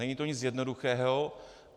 Není to nic jednoduchého.